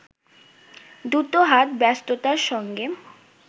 দুটো হাত ব্যস্ততার সঙ্গে